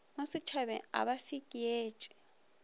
mo sešhabeng ga ba fekeetše